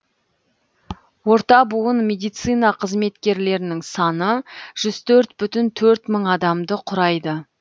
орта буын медицина қызметкерлерінің саны жүз төрт бүтін төрт мың адамды құрайды